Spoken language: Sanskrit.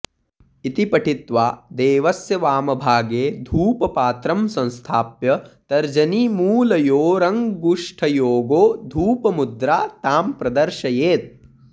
इति पठित्वा देवस्य वामभागे धूपपात्रं संस्थाप्य तर्जनीमूलयोरङ्गुष्ठयोगो धूपमुद्रा तां प्रदर्शयेत्